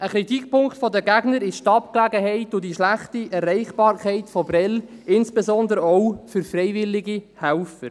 Ein Kritikpunkt der Gegner ist die Abgelegenheit und die schlechte Erreichbarkeit von Prêles, insbesondere auch für freiwillige Helfer.